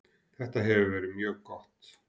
Þetta hefur verið mjög gott.